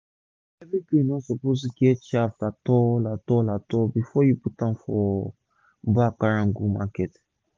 every grain no suppose dey get chaff at all at all at all before u put am for bag carry go market